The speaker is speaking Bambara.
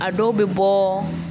A dɔw bɛ bɔ